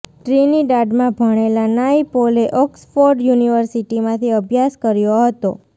ટ્રિનિડાડમાં ભણેલા નાયપોલે ઓક્સફોર્ડ યુનિવર્સિટીમાંથી અભ્યાસ કર્યો હતો